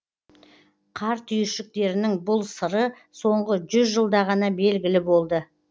қар түйіршіктерінің бұл сыры соңғы жүз жылда ғана белгілі болды